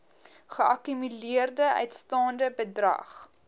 geakkumuleerde uitstaande bedrag